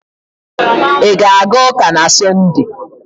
Ị ga-aga ụka na Sọnde?